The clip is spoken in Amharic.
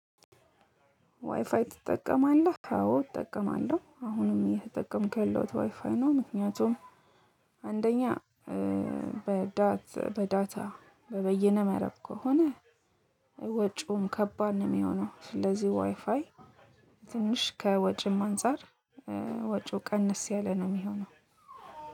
ዋይፋይ ትጠቀማለህ አዎ እጠቀማለሁ አሁንም እየተጠቀምኩ ያለሁት ዋይፋይ ነው። ምክንያቱም አንደኛ በዳታ በበየነ መረብ ከሆነ ወጪውም ከባድ ነው የሚሆነው። ስለዚህ ዋይፋይ ትንሽ ከወጪም አንፃር ወጪው ቀንስ ያለ ነው። የሚሆነው